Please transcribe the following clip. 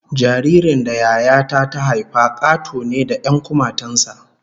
Jaririn da Yaya ta ta haifa Kato ne da 'yan kumatun sa